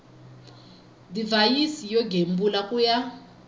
divhayisi yo gembula ku ya